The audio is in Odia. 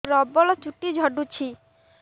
ପ୍ରବଳ ଚୁଟି ଝଡୁଛି